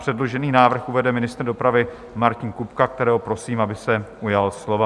Předložený návrh uvede ministr dopravy Martin Kupka, kterého prosím, aby se ujal slova.